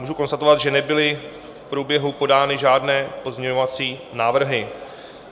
Můžu konstatovat, že nebyly v průběhu podány žádné pozměňovací návrhy.